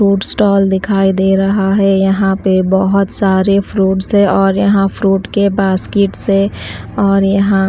fruit stall दिखाई दे रहा है यहां पे बहुत सारे फ्रूट्स है और यहां फ्रूट के बास्केट्स है और यहां--